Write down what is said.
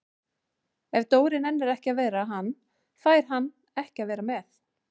Ef Dóri nennir ekki að vera hann, fær hann ekki að vera með